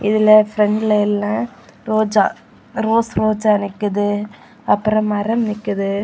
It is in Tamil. இதுல பிரண்ட்ல எல்லா ரோஜா ரோஸ் ரோஜா நிக்குது அப்புறம் மரம் நிக்குது.